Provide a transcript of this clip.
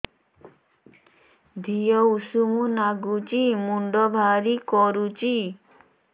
ଦିହ ଉଷୁମ ନାଗୁଚି ମୁଣ୍ଡ ଭାରି କରୁଚି